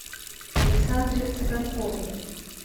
александре цыганковой